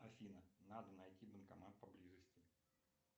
афина надо найти банкомат поблизости